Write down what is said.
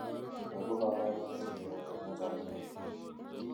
moibu kaborunoik en chokyinet